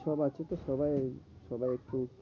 সব আছে তো সবাই এই সবাই একটু।